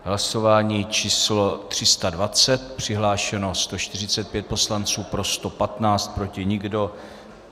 Hlasování číslo 320, přihlášeno 145 poslanců, pro 115, proti nikdo.